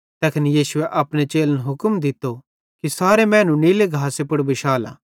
तैखन यीशुए अपने चेलन हुक्म दित्तो कि सारे मैनू नीले घासे पुड़ बिशाला